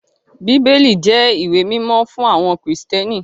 Bíbélì jẹ́ ìwé mímọ́ fún àwọn Krìstẹ́nì